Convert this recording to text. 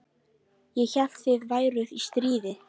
Ég hélt þið væruð í stríði?